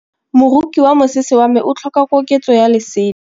Moroki wa mosese wa me o tlhoka koketsô ya lesela.